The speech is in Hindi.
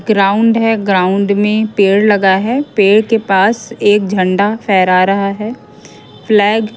ग्राउंड है ग्राउंड में पेड़ लगा है पेड़ के पास एक झंडा फहरा रहा है फ्लैग --